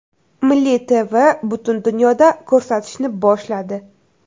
Milliy TV butun dunyoda ko‘rsatishni boshladi.